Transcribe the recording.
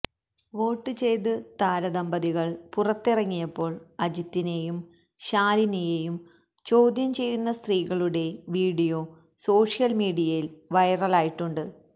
വോട്ടുചെയ്ത് താര ദമ്പതികള് പുറത്തിറങ്ങിയപ്പോള് അജിത്തിനേയും ശാലിനിയേയും ചോദ്യം ചെയ്യുന്ന സ്ത്രീകളുടെ വിഡിയോ സോഷ്യല് മീഡിയയില് വൈറലായിട്ടുണ്ട്